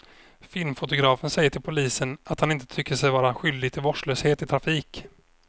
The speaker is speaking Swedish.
Filmfotografen säger till polisen att han inte tycker sig vara skyldig till vårdslöshet i trafik.